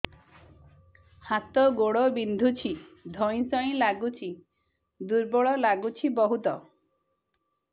ହାତ ଗୋଡ ବିନ୍ଧୁଛି ଧଇଁସଇଁ ଲାଗୁଚି ଦୁର୍ବଳ ଲାଗୁଚି ବହୁତ